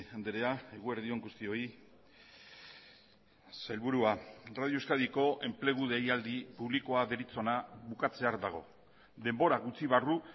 andrea eguerdi on guztioi sailburua radio euskadiko enplegu deialdi publikoa deritzona bukatzear dago denbora gutxi barru